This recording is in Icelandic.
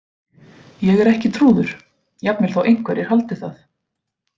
Ég er ekki trúður- jafnvel þó einhverjir haldið það.